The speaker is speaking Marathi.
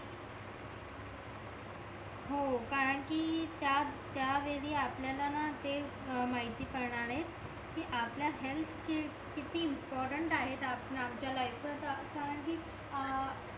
हो कारण कि त्या वेळी वेळी आपल्याला ना ते म्हैती पडणारे कि आपल्या हेअल्थ चे किती इम्पॉर्टन्ट आहे आमच्या लाईफत कारण कि अं